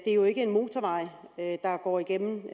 er jo ikke en motorvej der går igennem